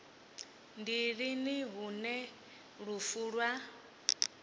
ndi lini hune lufu lwa